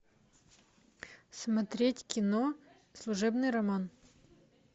смотреть кино служебный роман